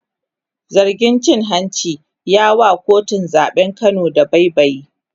zargin cin hanci ya wa kotun zaɓen Kano dabaibayi